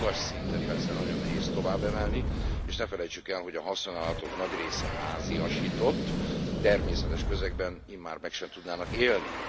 Ezt a magas szintet persze nagyon nehéz tovább emelni, és ne felejtsük el, hogy a haszonállatok nagy része háziasított, természetes közegben immár meg sem tudnának élni.